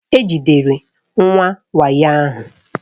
E jidere ndị wayo ahụ.